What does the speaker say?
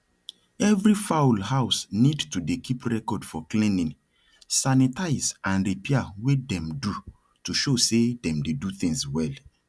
every fowl house need to dey keep record for cleaning sanitize and repair wey them do to show say them dey do things well